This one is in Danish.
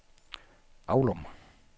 Avlum